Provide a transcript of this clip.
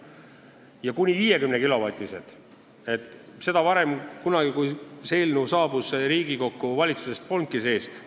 Ja kuni 50-kilovatised jaamad polnud siis, kui see eelnõu valitsusest Riigikokku saabus, üldse sees.